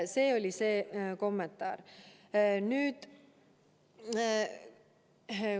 See oli selle kommentaari mõte.